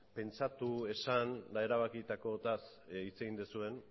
pentsatu esan eta erabakitakoaz hitz egiten zuen